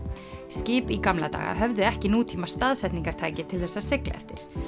skip í gamla daga höfðu ekki nútíma staðsetningartæki til þess að sigla eftir